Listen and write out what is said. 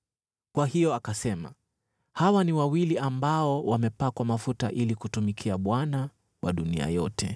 Kwa hiyo akasema, “Hawa ni wawili ambao wamepakwa mafuta ili kumtumikia Bwana wa dunia yote.”